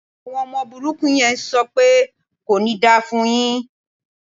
Àwọn ọmọ burúkú yẹn ń sọ pẹ́ "kò ní da fún un yín".